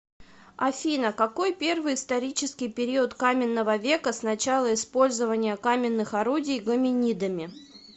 афина какой первый исторический период каменного века с начала использования каменных орудий гоминидами